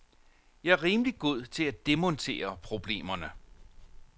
Jeg er rimelig god til at demontere problemerne.